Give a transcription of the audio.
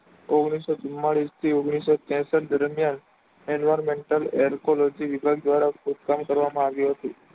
ઓગનીશો ચુમાલિશ થી ઓગનીશો ત્રેસઠ દરમિયાન enviourmental aircology વિભાગ દવારા ખોંદકામ કરવામાં આવ્યું હતું.